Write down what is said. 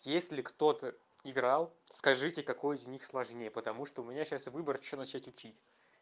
есть ли кто-то играл скажите какой из них сложнее потому что у меня сейчас выбор что начать учить